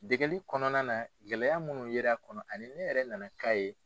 Degeli kɔnɔna na gɛlɛya munnu yer'a kɔnɔ ani ne yɛrɛ na na k'a ye.